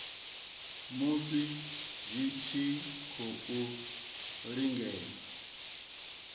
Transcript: musi dzi tshi khou lingedza